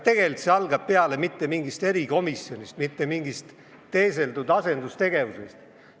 Tegelikult ei alga keeleõpe peale mitte mingist erikomisjonist ega mingist teeseldud asendustegevusest.